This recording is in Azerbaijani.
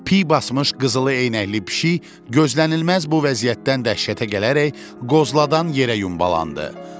Piy basmış qızılı eynəkli pişik gözlənilməz bu vəziyyətdən dəhşətə gələrək qozladan yerə yumbalandı.